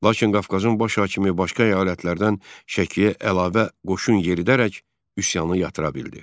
Lakin Qafqazın baş hakimi başqa əyalətlərdən Şəkiyə əlavə qoşun yeridərək üsyanı yatıra bildi.